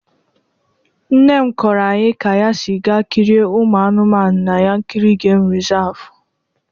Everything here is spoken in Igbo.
Nne m kọrọ anyị ka ya si gaa kirie ụmụ anụmanụ na Yankarị Gemu Rịsavụ.